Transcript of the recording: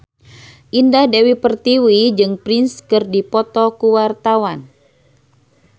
Indah Dewi Pertiwi jeung Prince keur dipoto ku wartawan